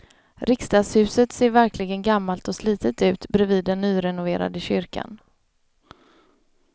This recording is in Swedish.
Riksdagshuset ser verkligen gammalt och slitet ut bredvid den nyrenoverade kyrkan.